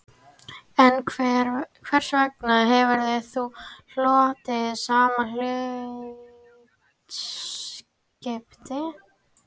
En hvers vegna hefur þú hlotið sama hlutskipti